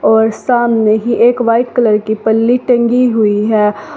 और सामने ही एक वाइट कलर की पल्ली टंगि हुई है।